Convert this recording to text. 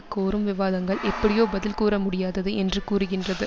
கோரும் விவாதங்கள் எப்படியோ பதில் கூற முடியாதது என்று கூறுகின்றது